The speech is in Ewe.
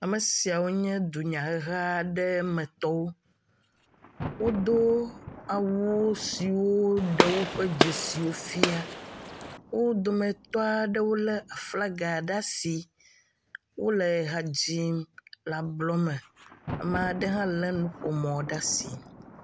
Ame siawo nye dunyaheha aɖe metɔwo. Wodo awu siwo ɖe woƒe dzesiwo fia. wo dometɔ aɖewo lé aflaga ɖe asi, wole ha dzim le ablɔme, ame aɖewo hã lé nuƒo mɔ ɖe asi.